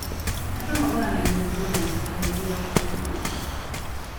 Andũ magũranagia nguo na itio hĩndĩ ya ũkũngũĩri